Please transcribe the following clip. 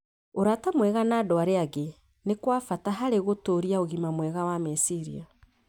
Ũrata mwega na andũ arĩa angĩ nĩ kwa bata harĩ gũtũũria ũgima mwega wa meciria.